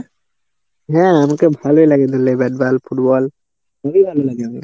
হ্যাঁ আমাকে ভালোই লাগে তো bat ball, football. খুবই ভালো লাগে।